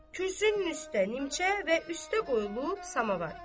Kürsünün üstə nimçə və üstə qoyulub samovar.